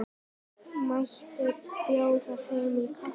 Mætti bjóða þeim kaffi?